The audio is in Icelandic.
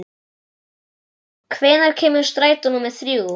Susan, hvenær kemur strætó númer þrjú?